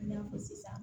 I n'a fɔ sisan